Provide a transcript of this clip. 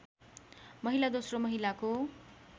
महिला दोस्रो महिलाको